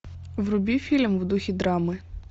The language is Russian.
вруби фильм в духе драмы